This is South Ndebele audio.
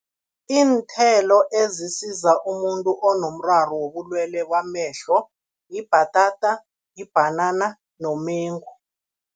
Iinthelo ezisiza umuntu onomraro wobulwelwe bamehlo, yibhatata, yibhanana nomengu.